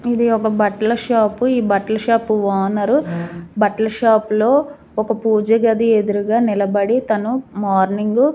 ఇది ఒక బట్టల షాప్ ఈ బట్టల షాపు ఓనర్ బట్టల షాపులో ఒక పూజ గది ఎదురుగా నిలబడి తను మార్నింగు --